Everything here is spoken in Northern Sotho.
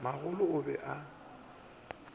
a magolo a be a